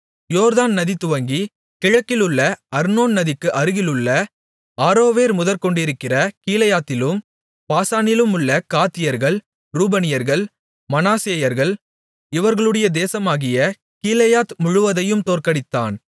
யோர்தான் நதி துவங்கிக் கிழக்கிலுள்ள அர்னோன் நதிக்கு அருகிலுள்ள ஆரோவேர் முதற்கொண்டிருக்கிற கீலேயாத்திலும் பாசானிலுமுள்ள காத்தியர்கள் ரூபனியர்கள் மனாசேயர்கள் இவர்களுடைய தேசமாகிய கீலேயாத் முழுவதையும் தோற்கடித்தான்